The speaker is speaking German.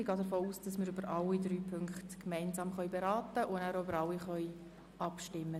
Ich gehe davon aus, dass wir über alle drei gemeinsam beraten und danach auch über alle drei gemeinsam abstimmen.